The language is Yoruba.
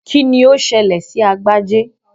Kíni ó ṣẹlẹ̀ sí Agbájé?